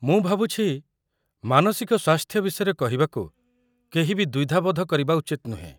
ମୁଁ ଭାବୁଛି ମାନସିକ ସ୍ୱାସ୍ଥ୍ୟ ବିଷୟରେ କହିବାକୁ କେହି ବି ଦ୍ୱିଧାବୋଧ କରିବା ଉଚିତ୍ ନୁହେଁ।